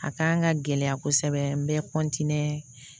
A kan ka gɛlɛya kosɛbɛ n bɛ kɔntiniye